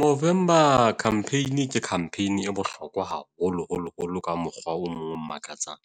Movember campaign ke campaign e bohlokwa haholoholo holo ka mokgwa o mong o makatsang.